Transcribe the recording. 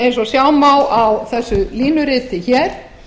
eins og sjá má á þessu línuriti hér